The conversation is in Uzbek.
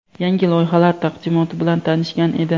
yangi loyihalar taqdimoti bilan tanishgan edi.